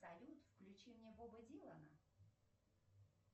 салют включи мне боба дилана